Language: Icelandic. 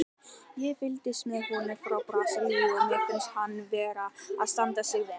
Ég fylgist með honum frá Brasilíu og mér finnst hann vera að standa sig vel.